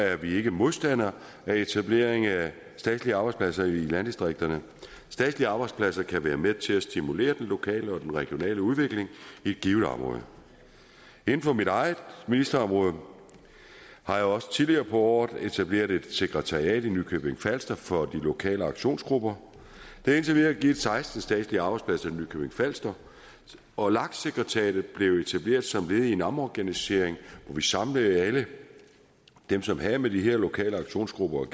er vi ikke modstandere af etablering af statslige arbejdspladser i landdistrikterne statslige arbejdspladser kan være med til at stimulere den lokale og regionale udvikling i et givet område inden for mit eget ministerområde har jeg også tidligere på året etableret et sekretariat i nykøbing falster for de lokale aktionsgrupper det har indtil videre givet seksten statslige arbejdspladser i nykøbing falster og lak sekretariatet blev etableret som led i en omorganisering hvor vi samlede alle dem som havde med de her lokale aktionsgrupper